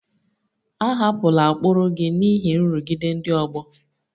Ahapụla ụkpụrụ gị n'ihi nrụgide ndị ọgbọ!